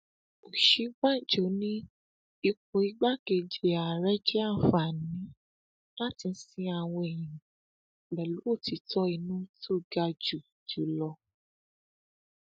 òsínbàjò ní ipò igbákejì ààrẹ jẹ àǹfààní láti sin àwọn èèyàn pẹlú òtítọ inú tó ga jù jù lọ